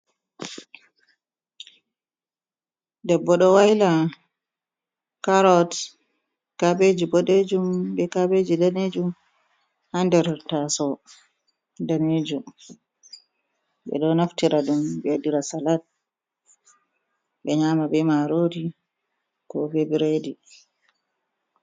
debbodo waila carrott kabeji bodejum be kabeji danejum ha nder tasawo danejum ɓe ɗo naftira ɗum ɓewaɗira salat be nyama be marori ko be bredi